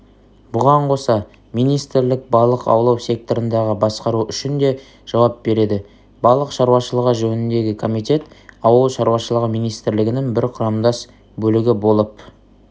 бұған қоса министрлік балық аулау секторындағы басқару үшін де жауап береді балық шаруышылығы жөніндегі комитет ауыл шаруашылығы министрлігінің бір құрамдас бөлігі болып